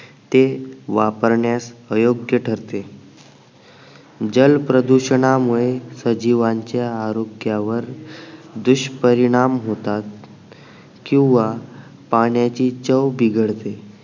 ते वापरण्यास अयोग्य ठरते जल प्रदूषणा मुळे सजीवांच्या आरोग्या वर दुष्परिणाम होतात किंवा पाण्याची चव बिघडते